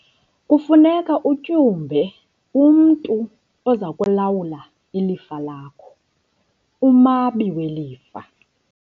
Kufuneka utyumbe umntu oza kulawula ilifa lakho, umabi welifa.